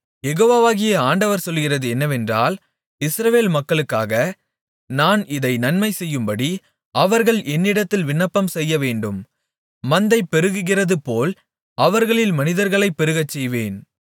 யெகோவாகிய ஆண்டவர் சொல்லுகிறது என்னவென்றால் இஸ்ரவேல் மக்களுக்காக நான் இதை நன்மைச்செய்யும்படி அவர்கள் என்னிடத்தில் விண்ணப்பம்செய்யவேண்டும் மந்தை பெருகுகிறதுபோல் அவர்களில் மனிதர்களைப் பெருகச்செய்வேன்